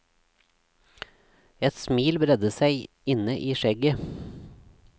Et smil bredde seg inne i skjegget.